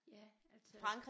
Ja altså